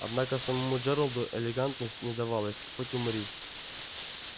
однако самому джералду элегантность не давалась хоть умри